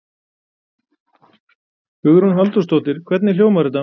Hugrún Halldórsdóttir: Hvernig hljómar þetta?